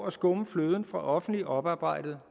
at skumme fløden fra offentligt oparbejdet